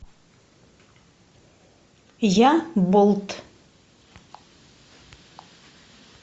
я болт